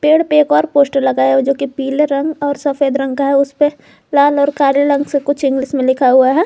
पेड़ पे एक और पोस्टर लगाया हुआ है जो की पीले रंग और सफेद रंग का है उसपे लाल और काले रंग से कुछ इंग्लिश में लिखा हुआ है।